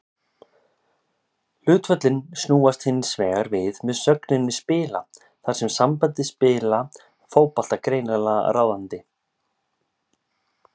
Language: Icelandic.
Hlutföllin snúast hins vegar við með sögninni spila, þar er sambandið spila fótbolta greinilega ráðandi.